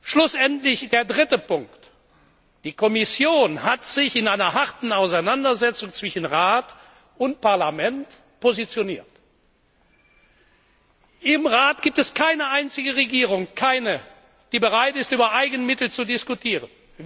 Schlussendlich der dritte Punkt Die Kommission hat sich in einer harten Auseinandersetzung zwischen Rat und Parlament positioniert. Im Rat gibt es keine einzige Regierung, keine, die bereit ist, über Eigenmittel zu diskutieren.